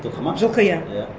жылқы ма жылқы иә иә